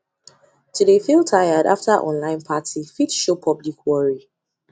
to de feel tired after online party fit show public worry